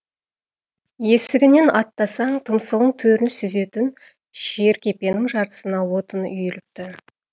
есігінен аттасаң тұмсығың төрін сүзетін жеркепенің жартысына отын үйіліпті